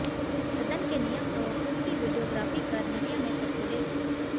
सदन के नियम तोड़ खुद की वीडियोग्राफी कर मीडिया में सर्कुलेट की